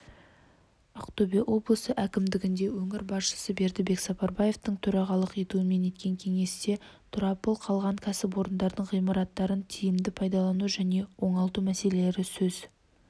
ақтөбе облысы әкімдігінде өңір басшысы бердібек сапарбаевтың төрағалық етуімен өткен кеңесте тұралап қалған кәсіпорындардың ғимараттарын тиімді пайдалану және оңалту мәселелері сөз